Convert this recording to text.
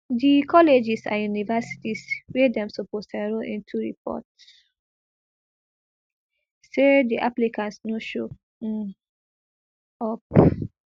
di colleges and universities wey dem suppose enrol into report say di applicants no show um up